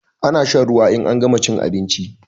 Ana shan ruwa in an gama chin abinchi